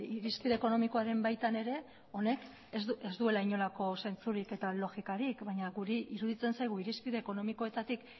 irizpide ekonomikoaren baitan ere honek ez duela inolako zentsurik eta logikarik baina guri iruditzen zaigu irizpide ekonomikoetatik